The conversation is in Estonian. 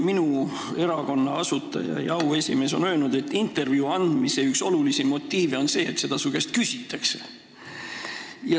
Minu erakonna asutaja ja auesimees on öelnud, et intervjuu andmise üks olulisi motiive on see, et seda su käest küsitakse.